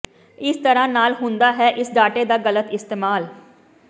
ਇਸ ਤਰ੍ਹਾਂ ਨਾਲ ਹੁੰਦਾ ਹੈ ਇਸ ਡਾਟਾ ਦਾ ਗਲਤ ਇਸਤੇਮਾਲ